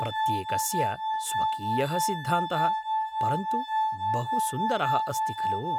प्रत्येकस्य स्वकीयः सिद्धान्तः, परन्तु बहुसुन्दरः अस्ति खलु?